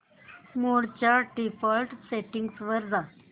मोड च्या default settings वर जा